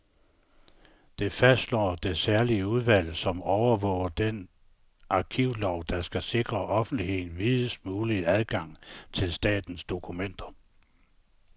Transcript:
Det fastslår det særlige udvalg, som overvåger den arkivlov, der skal sikre offentligheden videst mulig adgang til statens dokumenter.